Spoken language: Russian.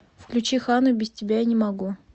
включи ханну без тебя я не могу